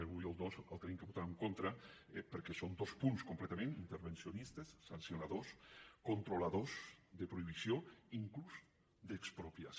l’un i el dos els hem de votar en contra per·què són dos punts completament intervencionistes sancionadors controladors de prohibició inclús d’ex·propiació